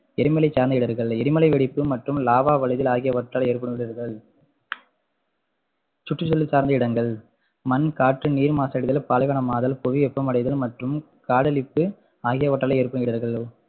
எரிமலை சார்ந்த இடர்கள் எரிமலை வெடிப்பு மற்றும் lava வளிதல் ஆகியவற்றால் ஏற்படும் இடர்கள் சுற்றுசூழல் சார்ந்த இடர்கள் மண், காற்று, நீர் மாசடைதல், பாலைவனமாதல், புவி வெப்பமடைதல் மற்றும் காடழிப்பு ஆகியவற்றால் ஏற்படும் இடர்கள்